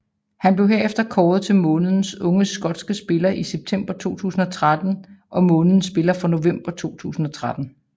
Han blev herefter kåret til månedens unge skotske spiller i september 2013 og månedens spiller for november 2013